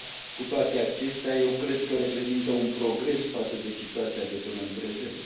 cu toate acestea, eu cred că reprezintă un progres față de situația de până în prezent.